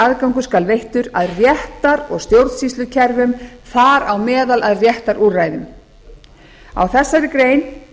aðgangur skal veittur að réttar og stjórnsýslukerfum þar á meðal að réttarúrræðum á þessari grein